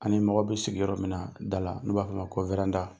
Ani mago be sigi yɔrɔ min na, da la, n'u b'a f'ɔ ma ko .